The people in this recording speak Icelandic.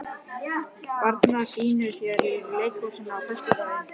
Betanía, hvaða sýningar eru í leikhúsinu á föstudaginn?